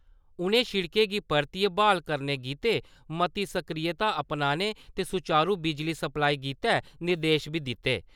उनें शिड़कें गी परतियै ब्हाल करने गित्ते मती सक्रियता अपनाने ते सुचारू बिजली सप्लाई गित्तै निर्देश बी दित्ते।